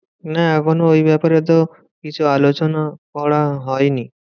না এখনো ওই ব্যাপারে তো কিছু আলোচনা করা হয়নি।